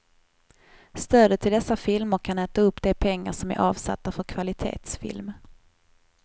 Stödet till dessa filmer kan äta upp de pengar som är avsatta för kvalitetsfilm.